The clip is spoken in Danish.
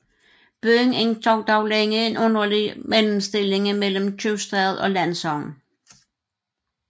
Byen indtog dog længe en underlig mellemstilling mellem købstad og landsogn